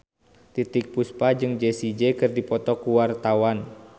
Titiek Puspa jeung Jessie J keur dipoto ku wartawan